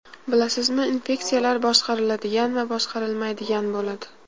Bilasizmi, infeksiyalar boshqariladigan va boshqarilmaydigan bo‘ladi.